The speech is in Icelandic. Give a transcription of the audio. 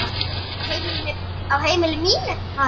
Á heimili mínu, maður.